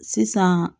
Sisan